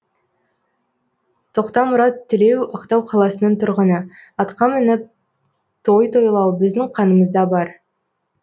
тоқтамұрат тілеу ақтау қаласының тұрғыны атқа мініп той тойлау біздің қанымызда бар